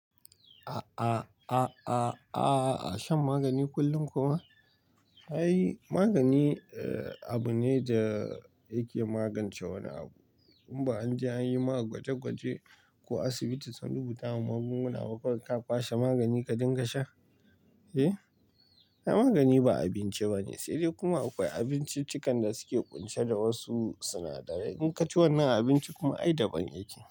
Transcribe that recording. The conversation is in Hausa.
A'a shan magani kullum kuma? Ai magani, abu ne da yake magance wani abu. In ba anje anyi ma gwaje gwaje, ko asibiti sun rubuta ma magunguna ba, kawai ka kwashe magani ka dinga sha. Eh? Na magani ba abinci bane. Sai dai kuma akwai abinciccikan da suke kunce da wasu sinadarai. In ka ci wannan abinci kuma ai daban yake.